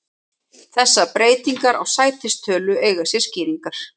Þessar breytingar á sætistölu eiga sér skýringar.